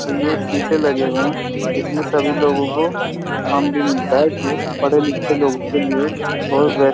और ये सीशे लगे हुए हैं इसमें सभी लोगों को काम भी मिलता है जो पढ़े लिखे लोगों के लिए और --